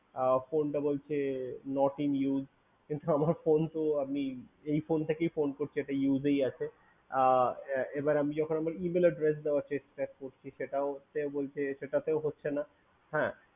কিন্তু phone বলছে Not in use কিন্তু আমার phone তো আমি এই phone থেকেই phone করছি এটা ইউজেস আছে এবার আমি যখন Email Adress দেওয়ার চেষ্টা করছি সেটা বলছে সেটাতেও হচ্ছে না হ্যা